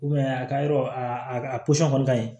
a ka yɔrɔ a a kɔni ka ɲi